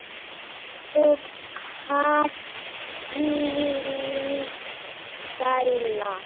Og hvílík sæla.